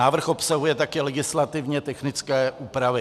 Návrh obsahuje také legislativně technické úpravy.